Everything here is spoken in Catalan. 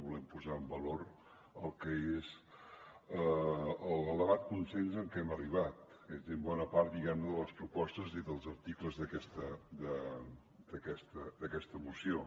volem posar en valor el que és l’elevat consens a què hem arribat és a dir en bona part diguem ne de les propostes i dels articles d’aquesta moció